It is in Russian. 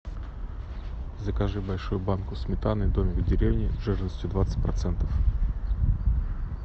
закажи большую банку сметаны домик в деревне жирностью двадцать процентов